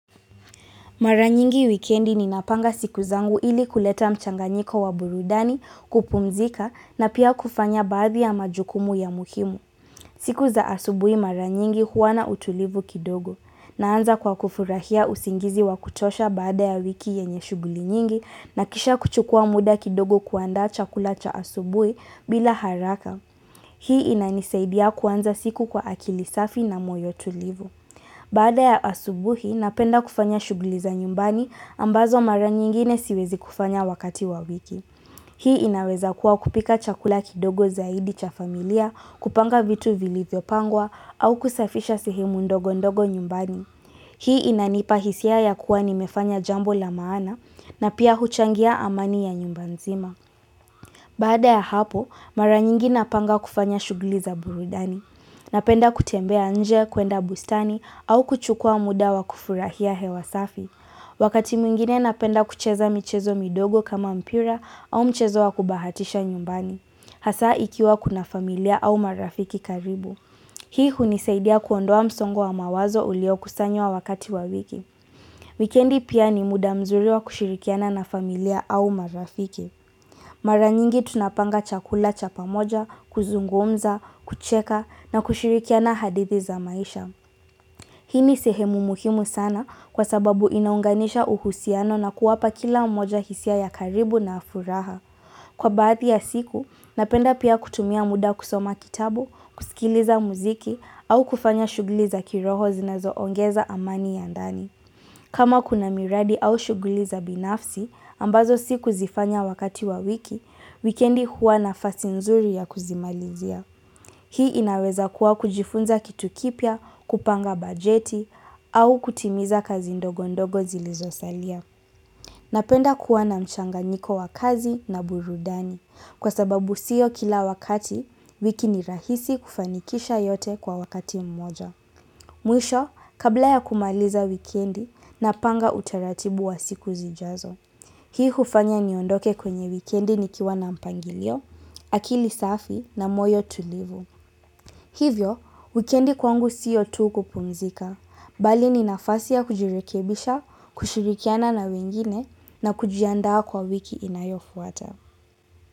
Maranyingi wikendi ninapanga siku zangu ili kuleta mchanganyiko wa burudani, kupumzika na pia kufanya baadhi ya majukumu ya muhimu. Siku za asubui maranyingi huwa na utulivu kidogo naanza kwa kufurahia usingizi wa kutosha baada ya wiki yenye shuguli nyingi na kisha kuchukua muda kidogo kuandaa chakula cha asubui bila haraka. Hii inanisaidia kuanza siku kwa akili safi na moyo tulivu. Baada ya asubuhi, napenda kufanya shugli za nyumbani ambazo mara nyingine siwezi kufanya wakati wa wiki. Hii inaweza kuwa kupika chakula kidogo zaidi cha familia, kupanga vitu vilivyo pangwa au kusafisha sehemu ndogo ndogo nyumbani. Hii inanipa hisia ya kuwa nimefanya jambo la maana na pia huchangia amani ya nyumba nzima. Baada ya hapo, mara nyingi napanga kufanya shugli za burudani. Napenda kutembea nje, kuenda bustani au kuchukua muda wa kufurahia hewa safi. Wakati mwingine napenda kucheza mchezo midogo kama mpira au mchezo wa kubahatisha nyumbani. Hasa ikiwa kuna familia au marafiki karibu. Hii hunisaidia kuondoa msongo wa mawazo uliokustanywa wakati wa wiki. Wikendi pia ni muda mzuri wa kushirikiana na familia au marafiki. Mara nyingi tunapanga chakula cha pamoja, kuzungumza, kucheka na kushirikiana hadithi za maisha. Hii ni sehemu muhimu sana kwa sababu inaunganisha uhusiano na kuwapa kila mmoja hisia ya karibu na ya furaha. Kwa baadhi ya siku, napenda pia kutumia muda kusoma kitabu, kusikiliza muziki au kufanya shugli za kiroho zinazo ongeza amani ya ndani. Kama kuna miradi au shuguli za binafsi, ambazo sikuzifanya wakati wa wiki, wikendi huwa nafasi nzuri ya kuzimalizia. Hii inaweza kuwa kujifunza kitu kipya, kupanga bajeti, au kutimiza kazi ndogo ndogo zilizosalia. Napenda kuwa na mchanganyiko wa kazi na burudani, kwa sababu siyo kila wakati, wiki ni rahisi kufanikisha yote kwa wakati mmoja. Mwisho, kabla ya kumaliza wikendi napanga utaratibu wa siku zijazo. Hii hufanya niondoke kwenye wikendi nikiwa na mpangilio, akili safi na moyo tulivu. Hivyo, wikendi kwangu siyo tu kupumzika, bali ni nafasi ya kujirekebisha, kushirikiana na wengine na kujiandaa kwa wiki inayofuata.